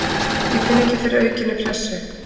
Ég finn ekki fyrir aukinni pressu.